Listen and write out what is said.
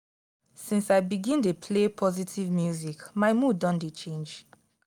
since i begin dey play positive music my mood don dey change.